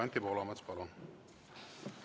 Anti Poolamets, palun!